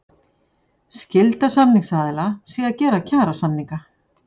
Skylda samningsaðila sé að gera kjarasamninga